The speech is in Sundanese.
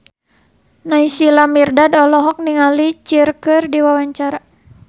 Naysila Mirdad olohok ningali Cher keur diwawancara